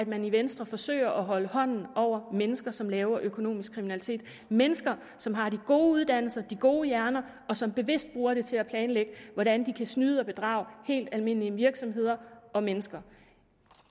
man i venstre forsøger at holde hånden over mennesker som laver økonomisk kriminalitet mennesker som har de gode uddannelser de gode hjerner og som bevidst bruger det til at planlægge hvordan de kan snyde og bedrage helt almindelige virksomheder og mennesker